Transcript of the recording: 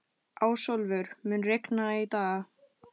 Ásólfur, mun rigna í dag?